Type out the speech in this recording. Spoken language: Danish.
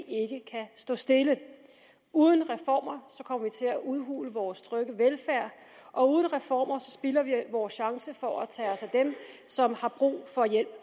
ikke kan stå stille uden reformer kommer vi til at udhule vores trygge velfærd og uden reformer spilder vi vores chance for at tage os af dem som har brug for hjælp